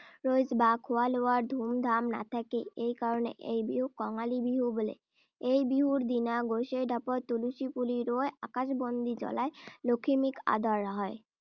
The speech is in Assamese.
ৰহইচ বা খোৱা-লোৱাৰ ধুমধাম নাথাকে। সেই কাৰণে এই বিহুক কঙালী বিহু বোলে৷ এই বিহুৰ দিনা গোঁসাই ঢাপত তুলসী পুলি ৰুই আকাশবস্তি জুলাই লখিমীক আদৰ৷ হয়।